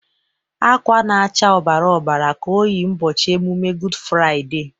Akwa na-acha ọbara ọbara ka o yi ụbọchị emume Gud Fraiday.